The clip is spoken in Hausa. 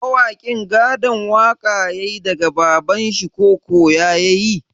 Mawakin gadon waƙa yayi daga babanshi ko koya yayi?